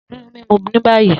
Duro mimu ni bayi!